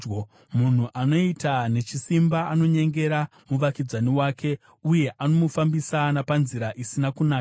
Munhu anoita nechisimba anonyengera muvakidzani wake, uye anomufambisa napanzira isina kunaka.